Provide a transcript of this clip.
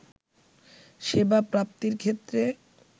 সেবা প্রাপ্তির ক্ষেত্রে